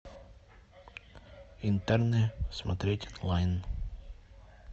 интерны смотреть онлайн